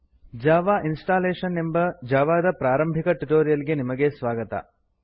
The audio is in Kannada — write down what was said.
ಜಾವಾ ಇನ್ಸ್ಟಾಲೇಶನ್ ಎಂಬ ಜಾವಾ ದ ಪ್ರಾರಂಭಿಕ ಟ್ಯುಟೋರಿಯಲ್ ಗೆ ನಿಮಗೆ ಸ್ವಾಗತ